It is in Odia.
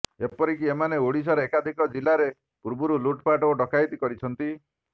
ଏପରିକି ଏମାନେ ଓଡ଼ିଶାର ଏକାଧିକ ଜିଲ୍ଲାରେ ପୂର୍ବରୁ ଲୁଟପାଟ ଓ ଡକାୟତି କରିଛନ୍ତି